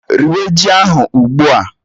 Riwé ji ahụ ugbu a!